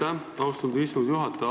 Aitäh, austatud istungi juhataja!